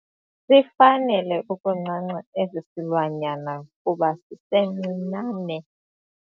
Sifanele ukuncanca esi silwanyana kuba sisesincinane.